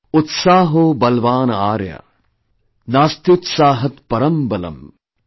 Utsaaho balwaanarya, Naastyutsaahaatparam balam |